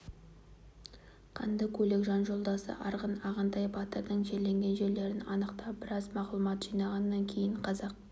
қанды көйлек жан жолдасы арғын ағынтай батырдың жерленген жерлерін анықтап біраз мағлұмат жинағаннан кейін қазақ